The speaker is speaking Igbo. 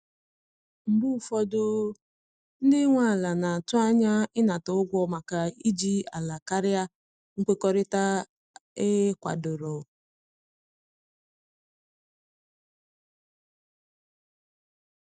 Mgbe ụfọdụ, ndị nwe ala na-atụ anya ịnata ụgwọ maka iji ala karịa nkwekọrịta e kwadoro.